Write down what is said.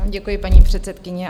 Děkuji, paní předsedkyně.